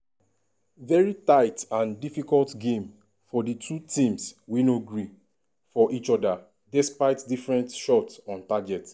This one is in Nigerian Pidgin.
veri tight and difficult game for di two teams wey no gree for each oda despite different shot on target.